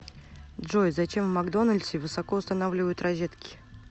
джой зачем в макдональдсе высоко устанавливают розетки